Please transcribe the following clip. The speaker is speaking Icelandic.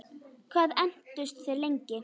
Hvað entust þeir lengi?